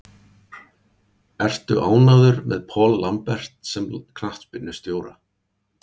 Ertu ánægður með Paul Lambert sem knattspyrnustjóra?